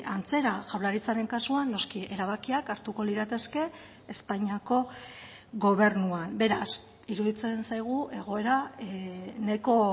antzera jaurlaritzaren kasuan noski erabakiak hartuko lirateke espainiako gobernuan beraz iruditzen zaigu egoera nahiko